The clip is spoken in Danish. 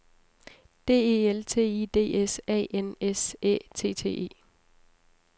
D E L T I D S A N S Æ T T E